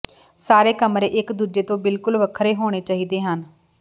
ਸਾਰੇ ਕਮਰੇ ਇਕ ਦੂਜੇ ਤੋਂ ਬਿਲਕੁਲ ਵੱਖਰੇ ਹੋਣੇ ਚਾਹੀਦੇ ਹਨ